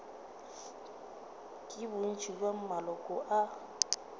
ke bontši bja maloko a